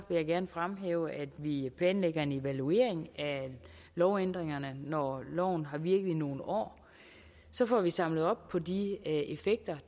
jeg gerne fremhæve at vi planlægger en evaluering af lovændringerne når loven har virket i nogle år så får vi samlet op på de effekter